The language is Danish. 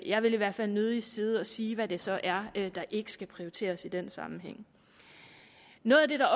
jeg vil i hvert fald nødig sidde og sige hvad det så er der ikke skal prioriteres i den sammenhæng noget af det der